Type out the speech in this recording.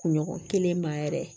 Kunɲɔgɔn kelen ma yɛrɛ